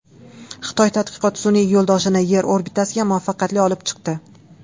Xitoy tadqiqot sun’iy yo‘ldoshini Yer orbitasiga muvaffaqiyatli olib chiqdi.